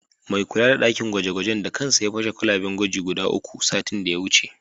Mai kula da ɗakin gwaje-gwajen da kansa ya fasa kwalaben gwaji guda uku, satin da ya wuce.